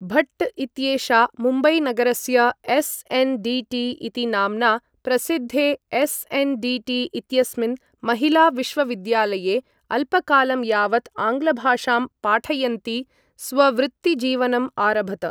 भट्ट इत्येषा मुम्बै नगरस्य एस्.एन्.डि.टि इति नाम्ना प्रसिद्धे एस्.एन्.डि.टि. इत्यस्मिन् महिला विश्वविद्यालये, अल्पकालं यावत् आङ्ग्लभाषां पाठयन्ती स्ववृत्तिजीवनम् आरभत।